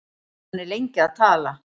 Hann er lengi að tala.